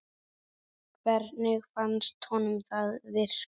Hvernig fannst honum það virka?